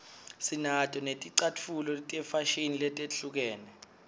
sinato netlcatfulo tefashini letehlukene